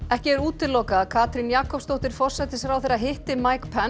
ekki er útilokað að Katrín Jakobsdóttir forsætisráðherra hitti